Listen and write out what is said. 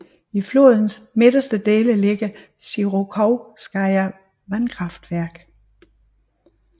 I flodens midterste dele ligger Sjirokovskaja vandkraftværk